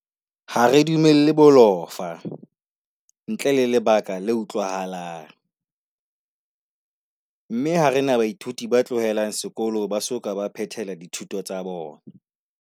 Ha re dumelle bolofa, ntle le lebaka le utlwahalang, mme ha re na baithuti ba tlohelang sekolo ba soka ba phethela dithuto tsa bona.